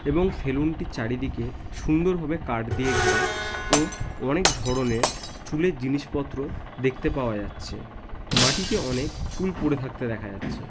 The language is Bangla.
এবং সেলুন টির চারিদিকে সুন্দরভাবে কাঠ দিয়া ঘেরা ও অনেক ধরণের চুলের জিনিসপত্র দেখতে পাওয়া যাচ্ছে মাটিতে অনেক চুল পরে থাকতে দেখা যাচ্ছে।